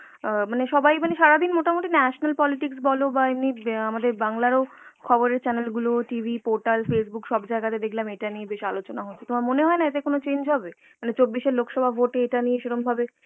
অ্যাঁ মানে সবাই মানে সারাদিন মানে মোটমুটি national politics বলো বা এমনি অ্যাঁ আমাদের বাংলার ও খবর ও channel গুলো TV, portal, Facebook সবজায়গাতে দেখলাম মানে ইটা নিয়ে বেশ আলোচনা হচ্ছে, তোমার মনে হয়েনা এতে কোনো change হবে? মানে চব্বিশ এর লোক সভা vote এ ইটা নিয়ে সেরম ভাবে